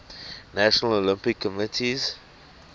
national olympic committees